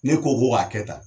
Ne ko ko k'a kɛ tan